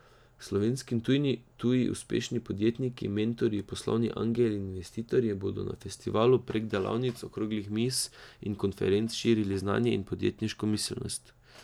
Slovenski in tuji uspešni podjetniki, mentorji, poslovni angeli in investitorji bodo na festivalu prek delavnic, okroglih miz in konferenc, širili znanje in podjetniško miselnosti.